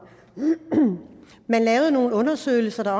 men lavede også nogle undersøgelser